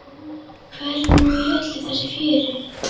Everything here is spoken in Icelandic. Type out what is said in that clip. Hvar er hún í öllu þessu fjöri?